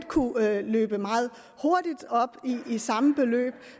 kunne løbe op i samme beløb